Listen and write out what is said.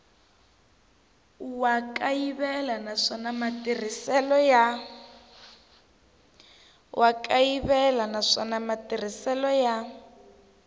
wa kayivela naswona matirhiselo ya